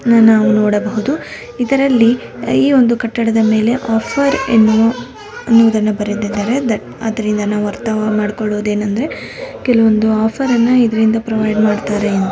ನನ್ನವು ನೋಡಬಹುದು ಇದರಲ್ಲಿ ಈ ಒಂದು ಕಟ್ಟಡದ ಮೇಲೆ ಆಫರ್ ಎನ್ನುವುದನ್ನು ಬರೆದಿದ್ದರೆ ಅದ್ರಿಂದ ನಾವು ಅರ್ತ ಮಾಡ್ಕೊಳ್ಳೋದು ಏನೆಂದರೆ ಕೆಲವೊಂದು ಆಫರ್ ಅನ್ನ ಇದರಿಂದ ಪ್ರೊವೈಡ್ ಮಾಡ್ತಾರೆ.